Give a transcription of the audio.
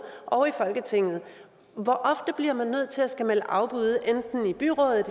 og i folketinget hvor ofte bliver man nødt til at skulle melde afbud enten i byrådet